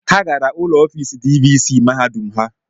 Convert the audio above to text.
Ha gara ụlọ ofisi Divisii mahadum ha